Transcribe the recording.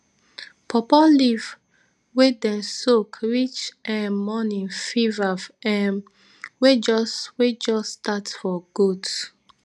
paw paw leave wey dem soak reach um morning fever[um] wey just wey just start for goats